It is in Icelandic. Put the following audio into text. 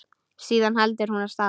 Síðan heldur hún af stað.